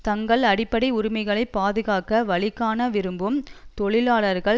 தங்கள் அடிப்படை உரிமைகளை பாதுகாக்க வழிகாண விரும்பும் தொழிலாளர்கள்